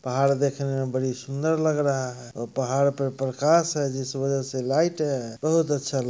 पहाड़ देखने मे बड़ी सुंदर लग रहा हे और पहाड़ पे प्रकाश है जिस वजह से लाइट है बहुत अच्छा